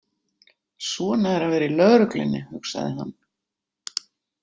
Svona er að vera í lögreglunni, hugsaði hann.